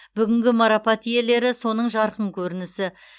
бүгінгі марапат иелері соның жарқын көрінісі